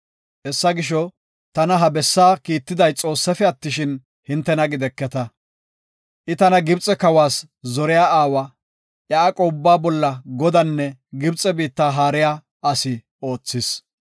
Hessa gisho, tana ha bessa kiittiday Xoossafe attishin, hintena gideketa. I tana Gibxe kawas zoriya aawa, iya aqo ubbaa bolla godanne Gibxe biitta haariya asi oothis.